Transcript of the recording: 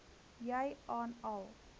jy aan al